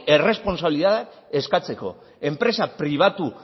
erresponsabilitatea eskatzeko enpresa pribatu